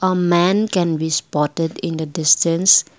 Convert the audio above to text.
a man can be spotted in the distance.